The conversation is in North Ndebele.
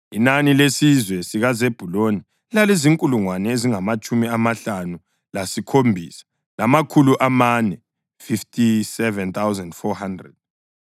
Inani lesizwe sikaZebhuluni lalizinkulungwane ezingamatshumi amahlanu lasikhombisa, lamakhulu amane (57,400).